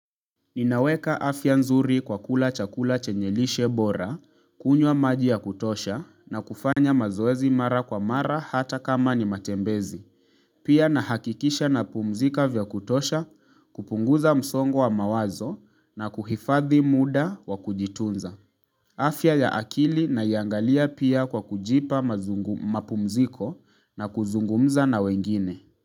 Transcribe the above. Inaweka afya nzuri kwa kula chakula chenye lishe bora, kunywa maji ya kutosha na kufanya mazoezi mara kwa mara hata kama ni matembezi. Pia na hakikisha napumzika vya kutosha, kupunguza msongo wa mawazo na kuhifadhi muda wa kujitunza. Afya ya akili naiangalia pia kwa kujipa mapumziko na kuzungumza na wengine.